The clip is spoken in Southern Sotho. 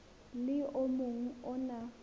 le o mong o na